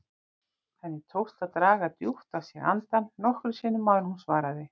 Henni tókst að draga djúpt að sér andann nokkrum sinnum áður en hún svaraði.